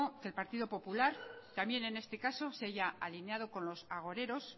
que el partido popular también en este caso se haya alineado con los agoreros